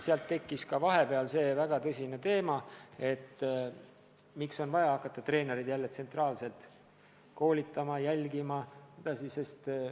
Sealt tekkis vahepeal väga tõsine signaal, et on vaja jälle hakata treenereid tsentraalselt koolitama ja nende tasustamist jälgima.